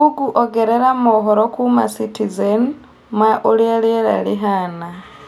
google ongerera mohoro kuuma citizen ma ũrĩa rĩera rĩhaana